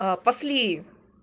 пасли